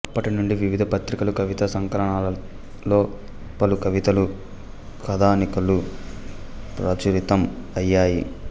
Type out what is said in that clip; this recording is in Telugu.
అప్పటినుండి వివిధ పత్రికలు కవితా సంకలనాలలో పలు కవితలు కథానికలు ప్రచురితం అయ్యాయి